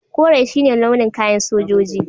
Kore shi ne launin kayan sojoji.